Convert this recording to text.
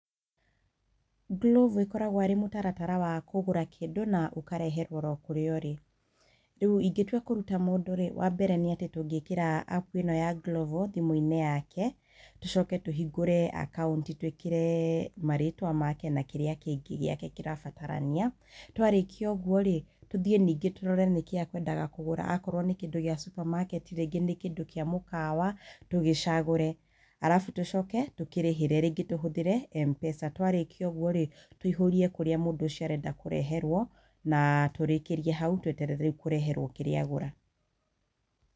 Glovo ĩkoragwo arĩ mũtaratara wa kũgũra kĩndũ na ũkareherwo oro kũrĩa ũrĩ. Rĩu, ingĩtua kũruta mũndũ-rĩ, wambere nĩ atĩ tũngĩkĩra app ĩno ya Glovo thimũ-inĩ yake, tũcoke tũhingũre akaunti twĩkĩre marĩtwa make na kĩrĩa kĩngĩ gĩake kĩrabatarania. Twarĩkia ũguo-rĩ, tũthiĩ ningĩ tũrore nĩkĩĩ ekwendaga kũgũra, okorwo nĩ kĩndũ gĩa supermarket, rĩngĩ nĩ kĩndũ kĩa mũkawa, tũgĩcagũre, arabu tũcoke tũkĩrĩhĩre, rĩngĩ tũhuthĩre M-pesa, twarĩkia ũguo- rĩ tũihũrie kũrĩa mũndũ ũcio arenda kũreherwo na tũrĩkĩrie hau tweterere rĩu kũreherwo kĩrĩa agũra.